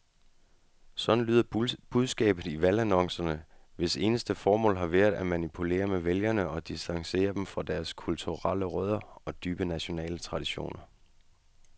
Sådan lyder budskabet i valgannoncerne, hvis eneste formål har været at manipulere med vælgere og distancere dem fra deres kulturelle rødder og dybe nationale traditioner.